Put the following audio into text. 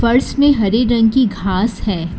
फर्श में हरे रंग की घास है।